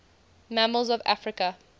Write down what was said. mammals of africa